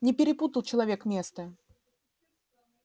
не перепутал человек место